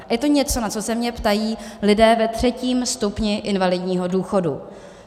Je to něco, na co se mě ptají lidé ve třetím stupni invalidního důchodu.